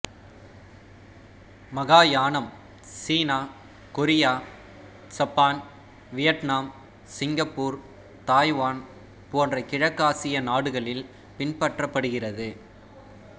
மகாயானம் சீனா கொரியா சப்பான் Vietnam Singapore Taiwan போன்ற கிழக்காசிய நாடுகளில் பின்பற்றப்படுகிறது